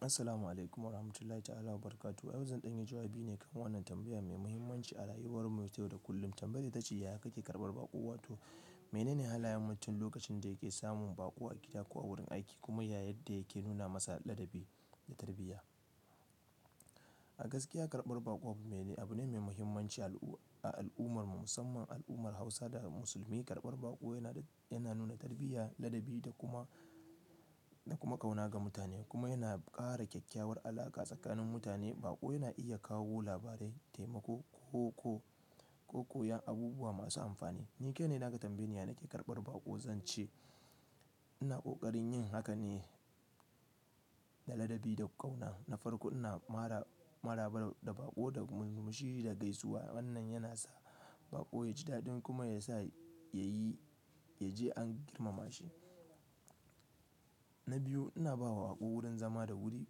Assalamu alaikum wa rahmatullahi ta'ala wa barakatu. Yanzu zan dangya jawabi ne kan wannan tambaya mai muhimmanci a rayuwar mu yau da kullum. Tambayar ita ce, "Yaya kake karɓar baƙo?" Wato mene ne halayen mutum lokacin da yake samun baƙo a gida ko a wurin aiki kuma yayadda yake nuna masa ladabi da tarbiyya. A gaskiya, karɓar baƙo abu ne mai muhimmanci a al'ummar mu musamman al'ummar Hausa da Musulmi. Karɓar baƙo yana, yana nuna tarbiyya, ladabi da kuma, da kuma ƙauna ga mutane kuma yana ƙara kyakkyawar alaƙa tsakanin mutane. Baƙo yana iya kawo labarai, taimako ko, ko, ko koyan abubuwa masu amfani. Ni kain in aka tambaye, yana ke karɓar baƙo, zan ce ina ƙoƙarin yin haka ne da ladabi da ƙauna. Na farko ina maraba da baƙo da murmushi da gaisuwa. Wannan yana sa baƙo ya ji daɗin kuma ya sa ya yi, ya je an girmama shi. Na biyu, ina bawa baƙo wurin zama da wuri,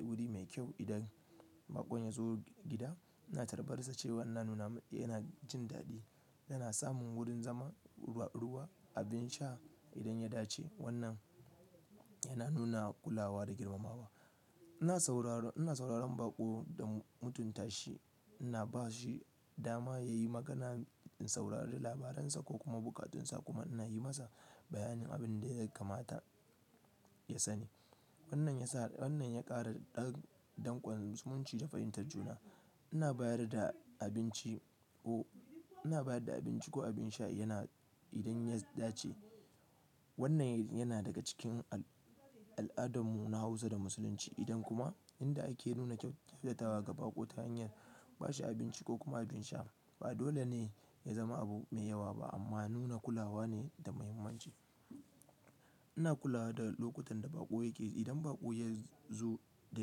wuri mai kyau. Idan baƙon ya zo gida, ina tarbarsa cewa ina nuna, yana jin daɗi. Yana samun wurin zama, ruwa, abin sha idan ya dace. Wannan yana nuna kulawa da girmamawa. Ina sauraro, ina sauraron baƙo da mutunta shi. Ina ba shi dama ya yi magana, in saurari labaransa ko kuma buƙatunsa kuma ina yi masa bayanin abin da ya kamata ya sani. Wannan ya sa, wannan ya ƙara ɗan, ɗan zumunci da fahimtar juna. Ina bayar da abinci ko, ina bayar da abinci ko abin sha yana idan ya dace. Wannan yana daga cikin al'adammu na Hausa da Musulunci. Idan kuma inda ake nuna kyautatawa ga baƙo ta hanyar ba shi abinci ko kuma abin sha. Ba dole ne ya zama abu mai yawa ba amma nuna kulawa ne da muhimmanci. Ina kula da lokutan da baƙo yake ji. Idan baƙo ya zo da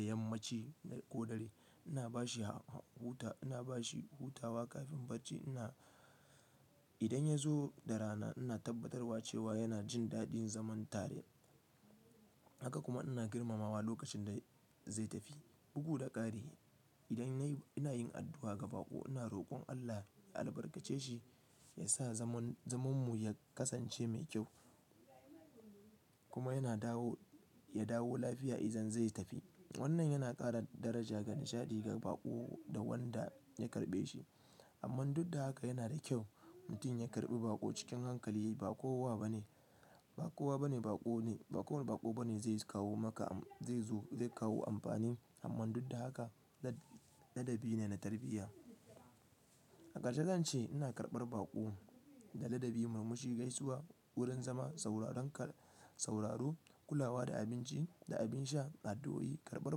yammaci ko dare, ina ba shi hutawa kafin bacci. Ina, idan ya zo da rana, ina tabbatarwa cewa yana jin daɗin zaman tare. Haka kuma ina girmamawa lokacin da zai tafi. Bugu da ƙari. Idan nayi ina yin addu'a ga baƙo. Ina rokon Allah ya albarkace shi, ya sa zaman, zamanmu ya kasance mai kyau kuma yana dawo, ya dawo lafiya idan zai tafi. Wannan yana ƙara daraja ga nishaɗi ga baƙo da wanda ya karɓe shi. Amman duk da haka yana da kyau mutum ya karɓi baƙo cikin hankali. Ba kowa bane, ba kowa bane baƙo ne. Ba kowane baƙo bane zai kawo maka, zai zo zai kawo amfani. Amma duk da haka ladabi ne na tarbiyya. A karshe zan ce ina karɓar baƙo da ladabi, murmushi, gaisuwa, wurin zama, sauraron ka, sauraro, kulawa da abinci da abin sha, addu'o'i. Karɓar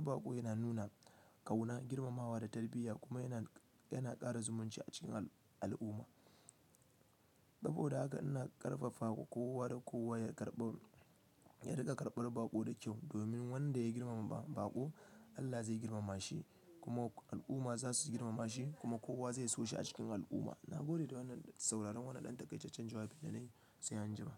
baƙo yana nuna ƙauna, girmamawa da tarbiyya kuma yana, yana ƙara zumunci a cikin al'umma. Saboda haka ina ƙarfafama kowa da kowa ya karɓo, ya riƙa karɓar baƙo da kyau. Domin wanda ya girmama baƙo, Allah zai girmama shi kuma al'umma za su girmama shi kuma kowa zai so shi a cikin al'umma. Na gode da wannan sauraron wannan ɗan takai. Taccen jawabi da na yi sai an ji ma.